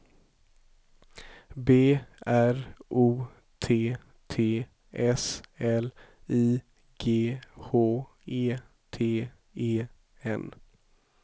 B R O T T S L I G H E T E N